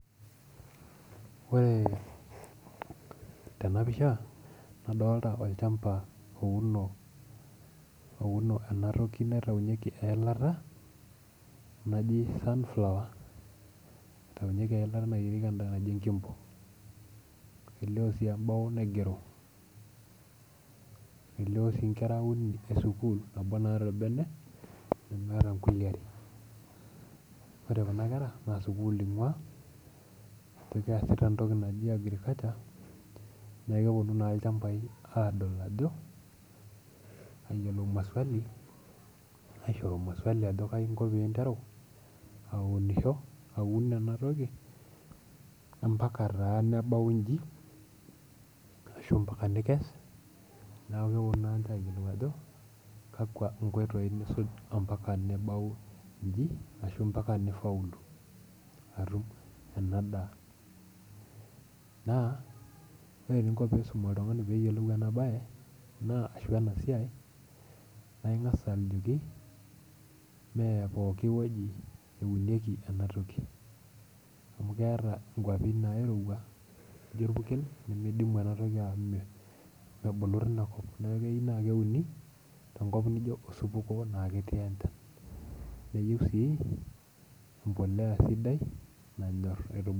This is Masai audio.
Ore tena pisha nadolta olchamba ouno, ouno enatoki naitaunyieki eilata naji sunflower itaunyieki eilata nayierieki endaa naji enkimbo elio sii embao naigero elio sii inkera uni esukuul nabo naata orbene nemeeta nkulie are ore kuna kera naa sukuul ing'ua kajo keesita entoki naji agriculture niaku keponu naa ilchambai aadol ajo ayiolo maswali aishoru maswali ajo kainko pinteru aunisho aun enatoki ampaka taa nebau inji ashu mpaka nikes niaku keponu naa ninche ayiolou ajo kakwa inkoitoi nisuj ampaka nebau inji ashu mpaka nifaulu atum ena daa naa ore eninko pisum oltung'ani peyiolou ena baye naa ashu ena siai naa ing'as aliki mee pokiwueji eunieki enatoki amu keeta inkuapi nairowua nijio orpurkel nimidimu enatoki au me mebulu tinakop niaku keyieu naa keuni tenkop nijio osupuko naa ketii enchan neyieu sii empoleya sidai nanyorr.